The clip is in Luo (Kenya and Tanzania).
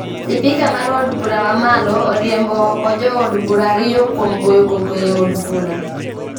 Sipika mar od bura mamalo oriembo ooko jood bura ariyo kuom goyo koko e od bura